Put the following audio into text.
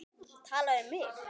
Tala við mig?